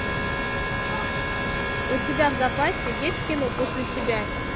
у тебя в запасе есть кино после тебя